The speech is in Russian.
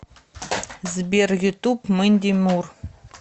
сбер ютуб мэнди мур